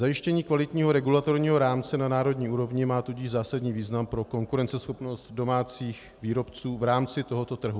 Zajištění kvalitního regulatorního rámce na národní úrovni má tudíž zásadní význam pro konkurenceschopnost domácích výrobců v rámci tohoto trhu.